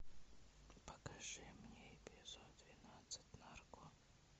покажи мне эпизод двенадцать нарко